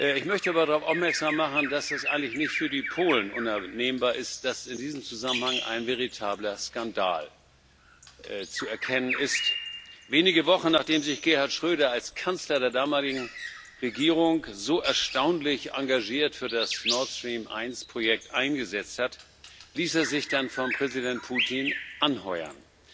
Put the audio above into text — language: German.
Ich möchte aber darauf aufmerksam machen, dass das eigentlich nicht nur für die Polen unannehmbar ist, dass in diesem Zusammenhang ein veritabler Skandal zu erkennen ist Wenige Wochen, nachdem sich Gerhard Schröder als Kanzler der damaligen Regierung so erstaunlich engagiert für das NordStream 1 Projekt eingesetzt hatte, ließ er sich dann von Präsident Putin anheuern.